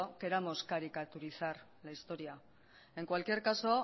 queramos caricaturizar la historia en cualquier caso